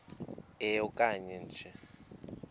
e okanye nge